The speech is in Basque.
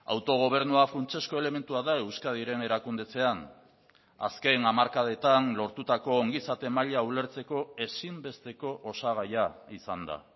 autogobernua funtsezko elementua da euskadiren erakundetzean azken hamarkadetan lortutako ongizate maila ulertzeko ezinbesteko osagaia izan da